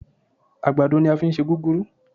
Àgbàdo ní á fí ń ṣe gúgúrú